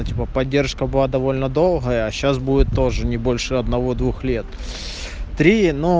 ну типа поддержка была довольно долгая а сейчас будет тоже не больше одного двух лет три но